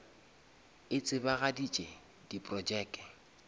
e tsebagaditše di projeke